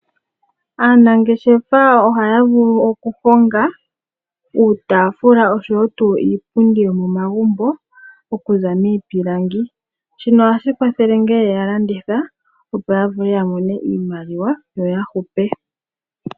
Aanangeshefa ohaya vulu okukonga uutaafula oshowo tuu iipundi yomomagumbo okuza miipilangi shino ohashi kwathele ngele ye yi landitha opo yavule yamone iimaliwa yo ya hupe